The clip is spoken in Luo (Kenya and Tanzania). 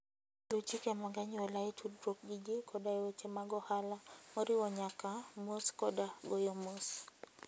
Luw chike mag anyuola e tudruok gi ji koda e weche mag ohala, moriwo nyaka mos koda goyo mos.